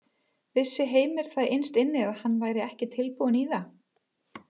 Vissi Heimir það innst inni að hann væri ekki tilbúinn í það?